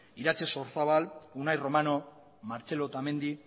iratxe sorzabal unai romano martxelo otamendi